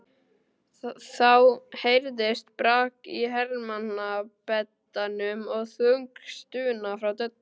Þá heyrðist brak í hermannabeddanum og þung stuna frá Döddu.